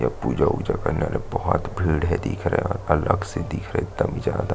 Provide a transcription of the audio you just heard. ये पूजा उजा करने वाले बोहोत भीड़ है दिख रहा है और अलग से दिख रहा है एकदम ज्यादा --